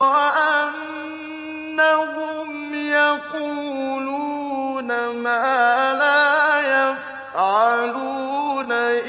وَأَنَّهُمْ يَقُولُونَ مَا لَا يَفْعَلُونَ